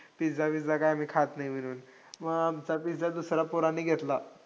Pizza- विझ्झा काय आम्ही खात नाई म्हणून, मग आमचा पिझ्झा दुसऱ्या पोरांनी घेतला.